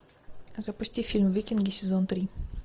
запусти фильм викинги сезон три